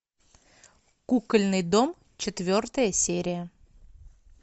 кукольный дом четвертая серия